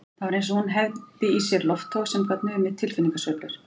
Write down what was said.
Það var eins og hún hefði í sér loftvog sem gat numið tilfinningasveiflur